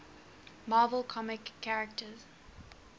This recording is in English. marvel comics characters